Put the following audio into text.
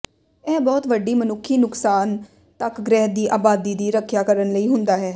ਇਹ ਬਹੁਤ ਵੱਡੀ ਮਨੁੱਖੀ ਨੁਕਸਾਨ ਤੱਕ ਗ੍ਰਹਿ ਦੀ ਆਬਾਦੀ ਦੀ ਰੱਖਿਆ ਕਰਨ ਲਈ ਹੁੰਦਾ ਹੈ